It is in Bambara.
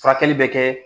Furakɛli bɛ kɛ